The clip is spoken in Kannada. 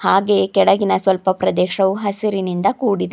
ಹಾಗೆ ಕೆಳಗಿನ ಪ್ರದೇಶವು ಸ್ವಲ್ಪ ಹಸಿರಿನಿಂದ ಕೂಡಿದೆ.